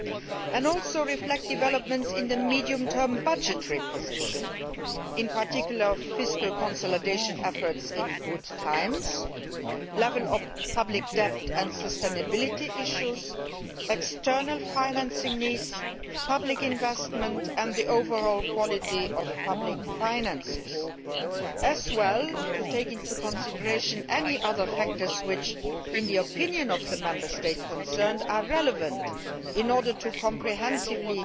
It shall also reflect developments in the medium term budgetary position, in particular, fiscal consolidation efforts in good times, the level of public debt and sustainability issues, external financing needs, public investment, and the overall quality of public finances. It shall also take into consideration any other factors which, in the opinion of the Member State concerned, are relevant in order to comprehensively